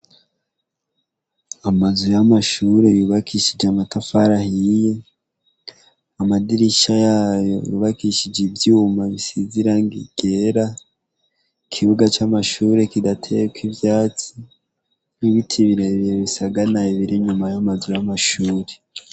Amazu y'amashure yubakishije amatafari ahiye, amadirisha yayo yubakishije ivyuma bisize irangi ryera, ikibuga c'amashure kidateyeko ivyatsi, ibiti birebire bisagaraye biri inyuma y'amashure.